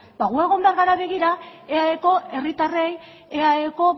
ba gu egon behar gara begira eaeko herritarrei eaeko